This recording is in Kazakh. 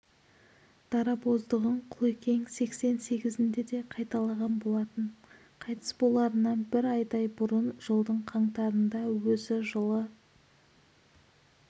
дарабоздығын құлекең сексен сегізінде де қайталаған болатын қайтыс боларынан бір айдай бұрын жылдың қаңтарында өзі жылы